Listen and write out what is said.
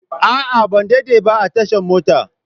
A'a, ban daɗe ba a tashan mota.